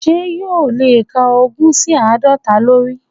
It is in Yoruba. Sé yóò o lè kà ogún sí àádọ́ta lórí?